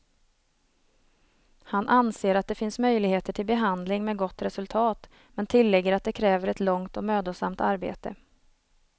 Han anser att det finns möjligheter till behandling med gott resultat, men tillägger att det kräver ett långt och mödosamt arbete.